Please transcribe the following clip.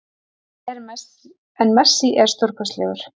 En Messi er stórkostlegur